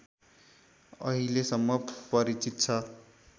अहिलेसम्म परिचित छ